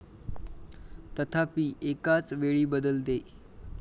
तथापि, एकाच वेळी बदलते.